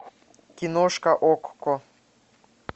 киношка окко